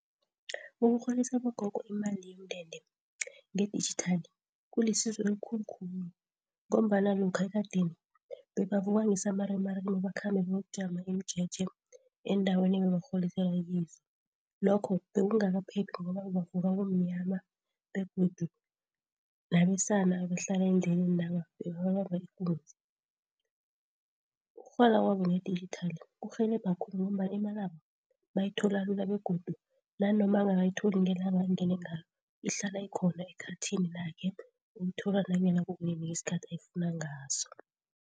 Ukurholisa abogogo imali yomndende ngedijithali kulisizo elikhulu khulu ngombana lokha ekadeni bebavuka ngesamarimarima bakhambe bayokujama imijeje eendaweni ebekurholiselwa kizo. Lokho bekungakaphephi ngoba bebavuka kumnyama begodu nabesana abahlala endlelenaba bebaba bamba ikunzi. Ukurhola kwabo ngedijithali kurhelebha khulu ngombana imalabo bayithola lula begodu nanoma angakayitholi ngelanga engene ngalo ihlala ikhona ekhathini lakhe, uyithola nanyana kunini ngesikhathi ayifuna ngaso.